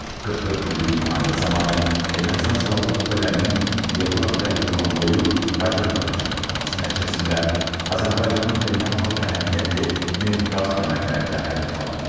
44 günlük müharibə zamanı Ermənistan Silahlı Qüvvələrinin Yevlax və Goranboyu raket atəşinə tutması nəticəsində Azərbaycanın beynəlxalq əhəmiyyətli neft qaz kəmərləri də hədəfə alınıb.